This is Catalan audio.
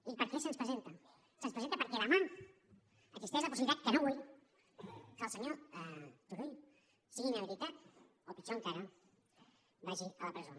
i per què se’ns presenta se’ns presenta perquè demà existeix la possibilitat que no vull que el senyor turull sigui inhabilitat o pitjor encara vagi a la presó